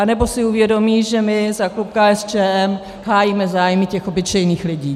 Nebo si uvědomí, že my za klub KSČM hájíme zájmy těch obyčejných lidí.